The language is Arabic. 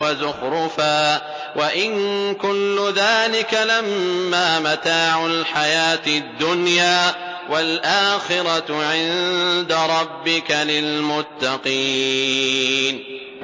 وَزُخْرُفًا ۚ وَإِن كُلُّ ذَٰلِكَ لَمَّا مَتَاعُ الْحَيَاةِ الدُّنْيَا ۚ وَالْآخِرَةُ عِندَ رَبِّكَ لِلْمُتَّقِينَ